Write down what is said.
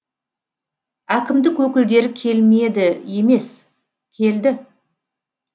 әкімдік өкілдері келмеді емес келді